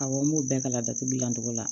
Awɔ n b'o bɛɛ kala datugu gilan cogo la